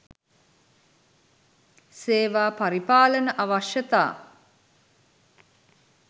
"සේවා පරිපාලන අවශ්‍යතා"